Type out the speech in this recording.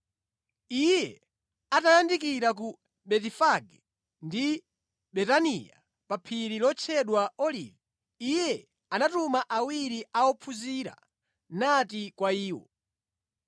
Iye atayandikira ku Betifage ndi Betaniya pa phiri lotchedwa Olivi, Iye anatuma awiri a ophunzira nati kwa iwo,